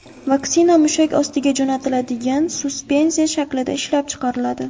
Vaksina mushak ostiga jo‘natiladigan suspenziya shaklida ishlab chiqariladi .